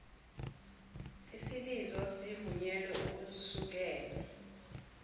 isibizo sivunyelwe ukusukela